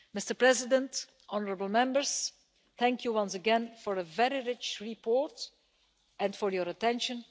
Mr President, honourable Members, thank you once again for a very rich report and for your attention.